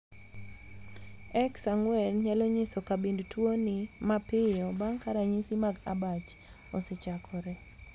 xxxx nyalo nyiso kabind tuoni mapiyo bang' ka ranyisi mag abach osechakore.